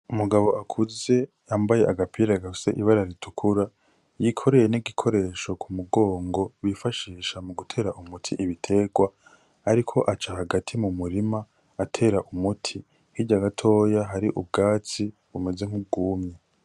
Umugabo akuze yambaye agapira gafise ibara ritukura yikoreye n'igikoresho k'umugongo bifashisha mugutera umuti ibiterwa ariko aca hagati mu murima atera umuti hirya gatoya hari ubwatsi bumeze nk'ubwumye.